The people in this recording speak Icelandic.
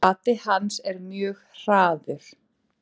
Bati hans er mjög hraður.